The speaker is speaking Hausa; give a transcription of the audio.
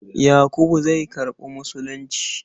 Yakubu zai karɓi Musulunci.